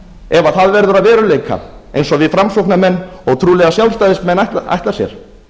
ef það verður að veruleika eins og við framsóknarmenn og trúlega sjálfstæðismenn ætla sér